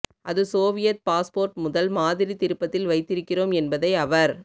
அது Soviet passport முதல் மாதிரி திருப்பத்தில் வைத்திருக்கிறோம் என்பதை அவர்